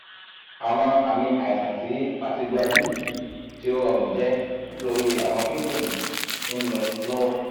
awọn aami aisan ti fatiguability ti o rọrun jẹ nitori arun kidinrin ti nlọ lọwọ